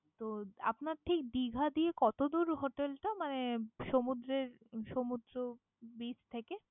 তো আপনার ঠিক দিঘা দিয়ে কতদূর hotel টা মানে সমুদ্রের সমুদ্র beach থেকে?